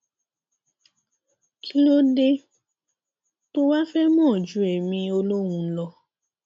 kí ló dé tó o wàá fẹẹ mọ ju èmi olóhùn lọ